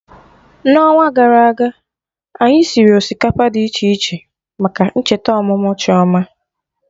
Na onwa gara aga anyị siri osikapa dị iche iche maka ncheta ọmụmụ Chioma